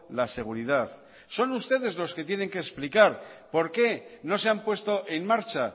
la seguridad son ustedes los que tienen que explicar por qué no se han puesto en marcha